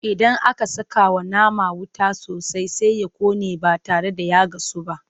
Idan aka sakawa nama wuta sosai Sai ya ƙone ba tare da ya gasu ba.